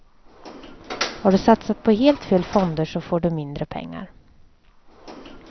Har du satsat på helt fel fonder så får du mindre pengar.